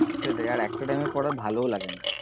সেটাই আর একটা time এর পর আর ভালোও লাগে না।